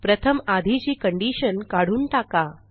प्रथम आधीची कंडिशन काढून टाका